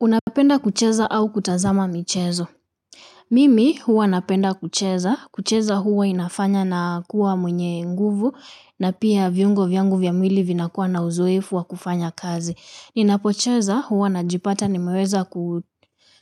Unapenda kucheza au kutazama michezo. Mimi huwa napenda kucheza. Kucheza huwa inafanya na kuwa mwenye nguvu na pia viungo vyangu vya mwili vinakuwa na uzoefu wa kufanya kazi. Ninapocheza huwa najipata nimeweza